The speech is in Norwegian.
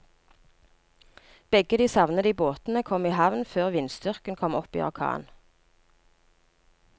Begge de savnede båtene kom i havn før vindstyrken kom opp i orkan.